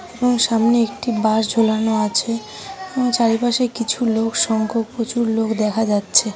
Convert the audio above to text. এবং সামনে একটি বাঁশ ঝোলানো আছে । ও চারিপাশে কিছু লোক সংখ্যক প্রচুর লোক দেখা যাচ্ছে।